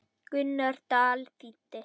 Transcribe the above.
Gunnar Dal þýddi.